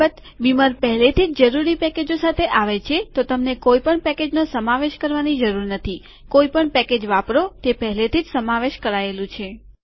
અલબત બીમર પહેલેથીજ જરૂરી પેકેજો સાથે આવે છે તો તમને કોઈપણ પેકેજનો સમાવેશ કરવાની જરૂર નથી કોઈપણ પેકેજ વાપરો તે પહેલેથીજ સમાવેશ કરાયેલું છે